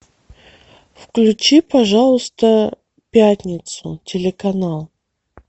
включи пожалуйста пятницу телеканал